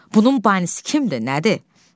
Bunun banisi kimdir, nədir?